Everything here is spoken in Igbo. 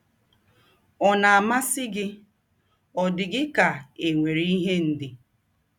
Ọ̀ na - amasị gị? Ọ̀ dị gị ka e nwere ihe ndị